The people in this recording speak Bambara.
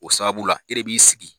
O sababu e de b'i sigi.